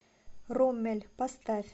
роммель поставь